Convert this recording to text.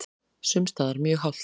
Sums staðar mjög hált